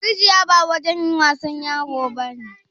Rijiya wajen wasan yaro ne?